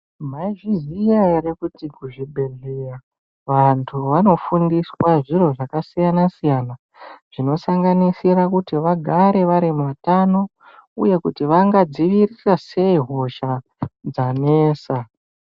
Maizviziya ere kuti kuzvibhedhleya vantu vanofundiswa zviro zvakasiyana -siyana zvinosanganisira kuti vagare vari muutano uye kuti vangadziirira sei hosha dzanesa.